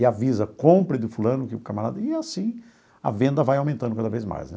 E avisa, compre de fulano que o camarada... E assim a venda vai aumentando cada vez mais, né?